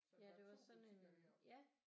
Ja det var sådan en ja